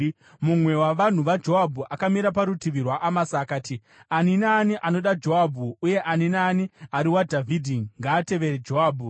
Mumwe wavanhu vaJoabhu akamira parutivi rwaAmasa akati, “Ani naani anoda Joabhu, uye ani naani ari waDhavhidhi, ngaatevere Joabhu!”